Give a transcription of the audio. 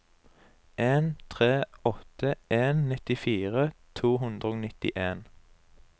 en tre åtte en nittifire to hundre og nittien